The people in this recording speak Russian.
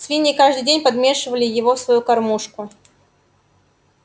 свиньи каждый день подмешивали его в свою кормушку